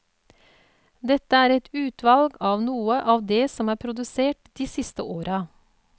Dette er et uvalg av noe av det som er produsert de siste åra.